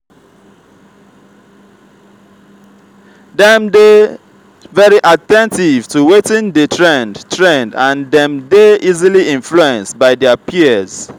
dem dey very at ten tive to wetin de trend trend and dem dey easily influence by their peers